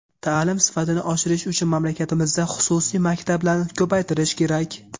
Ta’lim sifatini oshirish uchun mamlakatimizda xususiy maktablarni ko‘paytirish kerak.